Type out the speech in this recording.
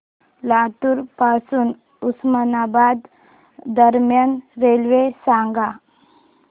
लातूर पासून उस्मानाबाद दरम्यान रेल्वे सांगा